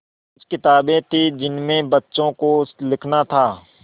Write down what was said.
कुछ किताबें थीं जिनमें बच्चों को लिखना था